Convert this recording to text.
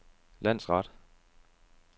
landsret